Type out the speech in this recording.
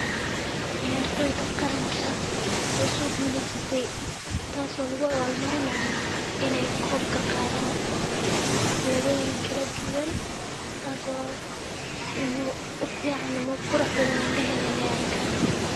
Ceyar tooy ta qaran ka ah oo soo gulisatay. Taasoo lagu awal marinayo in ay koobka qaadaan xabladooda in kala duwan, taasoo u fiican muu qurux badan en dhahayn inay arkaan.